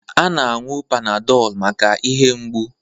A na-aṅụ panadol maka ihe mgbụ.